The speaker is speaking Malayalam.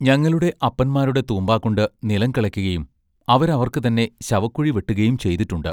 ഞങ്ങളുടെ അപ്പന്മാരുടെ തൂമ്പാകൊണ്ട് നിലം കിളയ്ക്കയും അവര് അവർക്ക് തന്നെ ശവക്കുഴി വെട്ടുകയും ചെയ്തിട്ടുണ്ട്.